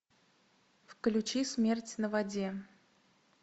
включи смерть на воде